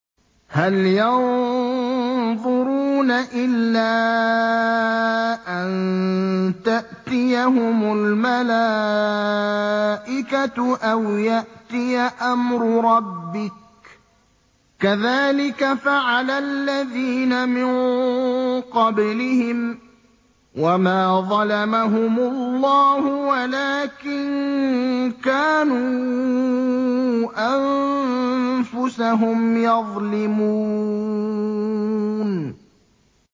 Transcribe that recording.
هَلْ يَنظُرُونَ إِلَّا أَن تَأْتِيَهُمُ الْمَلَائِكَةُ أَوْ يَأْتِيَ أَمْرُ رَبِّكَ ۚ كَذَٰلِكَ فَعَلَ الَّذِينَ مِن قَبْلِهِمْ ۚ وَمَا ظَلَمَهُمُ اللَّهُ وَلَٰكِن كَانُوا أَنفُسَهُمْ يَظْلِمُونَ